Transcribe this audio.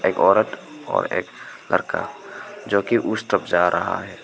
औरत और एक लड़का जो कि उस तरफ जा रहा है।